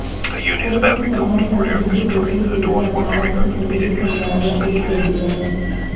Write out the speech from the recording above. police ने तमाम संदिग्ध सोशल मीडिया एकाउंट्स की कुंडली खंगालना शुरू कर दिया है